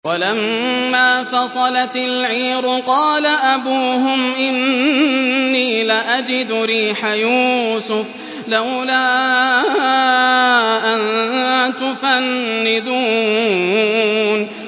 وَلَمَّا فَصَلَتِ الْعِيرُ قَالَ أَبُوهُمْ إِنِّي لَأَجِدُ رِيحَ يُوسُفَ ۖ لَوْلَا أَن تُفَنِّدُونِ